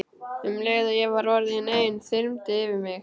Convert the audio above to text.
Um leið og ég var orðin ein þyrmdi yfir mig.